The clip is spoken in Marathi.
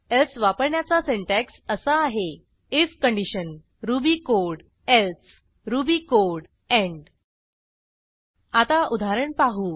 एल्से वापरण्याचा सिंटॅक्स असा आहे if condition Ruby code else Ruby code end आता उदाहरण पाहू